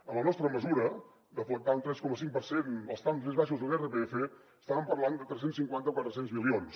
amb la nostra mesura deflactar un tres coma cinc per cent als trams més baixos de l’irpf estàvem parlant de tres cents i cinquanta o quatre cents milions